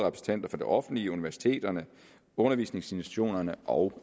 det offentlige universiteterne undervisningsinstitutionerne og